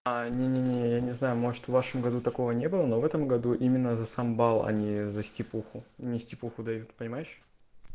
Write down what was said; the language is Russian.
а не не не я не знаю может в вашем году такого не было но в этом году именно за сам балл а не за стипендию мне стипендию дают понимаешь